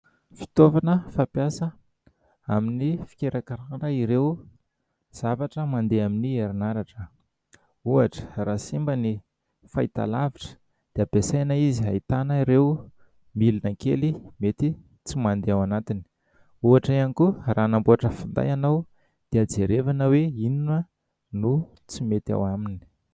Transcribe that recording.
Fitaovana fampiasa amin'ny fikirakirana ireo zavatra mandeha amin'ny herinaratra, ohatra raha simba ny fahitalavitra dia ampiasaina izy hahitana ireo milina kely mety tsy mandeha ao anatiny, ohatra ihany koa raha anamboatra finday ianao dia jerevana hoe inona no tsy mety ao aminy.